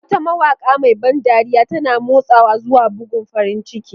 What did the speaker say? Wata mawaƙa mai ban dariya, tana motsawa zuwa bugun farin ciki.